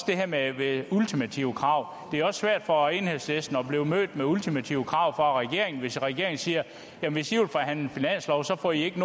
det her med ultimative krav er det jo svært for enhedslisten at blive mødt med ultimative krav fra regeringen hvis regeringen siger hvis i vil forhandle finanslov så får i ikke